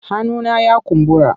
Hannuna ya kumbura.